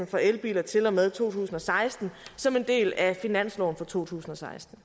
for elbiler til og med to tusind og seksten som en del af finansloven for to tusind og seksten